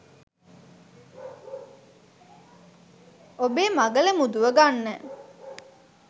ඔබෙ මගල මුදුව ගන්න